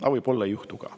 Aga võib-olla ei juhtu ka.